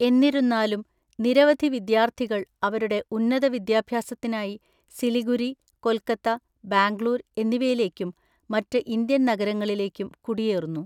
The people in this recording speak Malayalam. എന്നിരുന്നാലും, നിരവധി വിദ്യാർത്ഥികൾ അവരുടെ ഉന്നത വിദ്യാഭ്യാസത്തിനായി സിലിഗുരി, കൊൽക്കത്ത, ബാംഗ്ലൂർ എന്നിവയിലേക്കും മറ്റ് ഇന്ത്യൻ നഗരങ്ങളിലേക്കും കുടിയേറുന്നു.